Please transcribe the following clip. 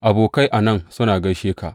Abokai a nan suna gaishe ka.